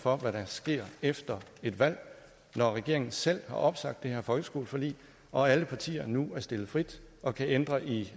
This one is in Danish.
for hvad der sker efter et valg når regeringen selv har opsagt det her folkeskoleforlig og alle partier nu er stillet frit og kan ændre i